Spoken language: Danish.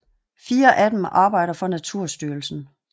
Fire af dem arbejder for Naturstyrelsen